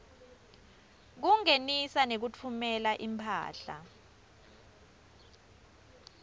kungenisa nekutfumela imphahla